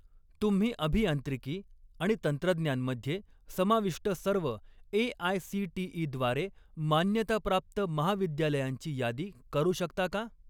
तुम्ही अभियांत्रिकी आणि तंत्रज्ञान मध्ये समाविष्ट सर्व ए.आय.सी.टी.ई. द्वारे मान्यताप्राप्त महाविद्यालयांची यादी करू शकता का?